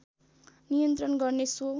नियन्त्रण गर्ने सो